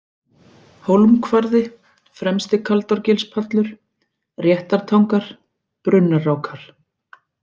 Hólmkvarði, Fremsti-Kaldárgilspallur, Réttartangar, Brunnarákar